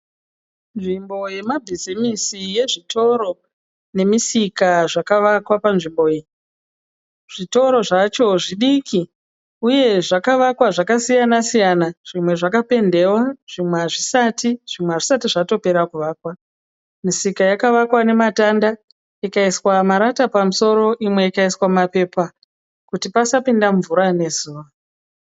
Nzvimbo yemabhizimusi yezvitoro nemisika zvakavakwa panzvimbo iyi, zvitoro zvacho zvidiki uye zvakavakwa zvakasiyana siyana zvimwe zvakapendewa zvimwe hazvisati zvimwe hazvisati zvatopera kuvakwa, misika yakavakwa nematanda inaiswa marata pamusoro imwe ikaiswa mapepa kuti pasapinda mvura nezuva.